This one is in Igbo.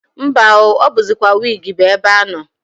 Mba o! O buzikwa wigi bu ebe ano.